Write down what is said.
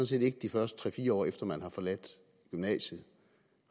set ikke de første tre fire år efter at man har forladt gymnasiet